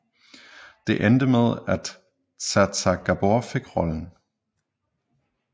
Det endte med at Zsa Zsa Gabor fik rollen